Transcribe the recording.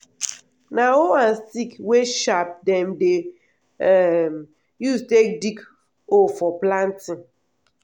na hoe and stick wey sharp dem dey um use take dig hole for planting.